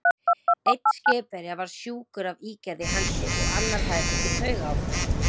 Einn skipverja var sjúkur af ígerð í hendi, og annar hafði fengið taugaáfall.